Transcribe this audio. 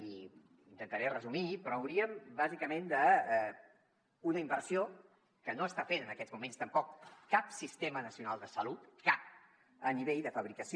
i ho intentaré resumir però hauríem bàsicament de fer una inversió que no està fent en aquests moments tampoc cap sistema nacional de salut cap a nivell de fabricació